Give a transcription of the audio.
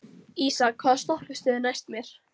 Ísak, hvaða stoppistöð er næst mér?